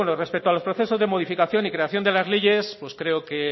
respecto a los procesos de modificación y creación de la leyes creo que